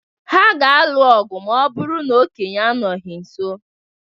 Ha ga-alụ ọ̀gwù ma ọ bụrụ na okenye anọghị ha nso.